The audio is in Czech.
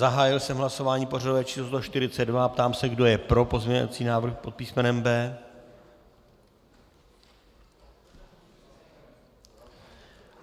Zahájil jsem hlasování pořadové číslo 142 a ptám se, kdo je pro pozměňovací návrh pod písmenem B.